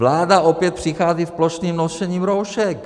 "Vláda opět přichází s plošným nošením roušek!